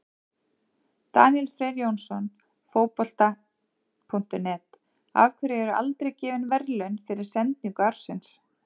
Daníel Freyr Jónsson, Fótbolta.net: Af hverju eru aldrei gefin verðlaun fyrir sendingu ársins?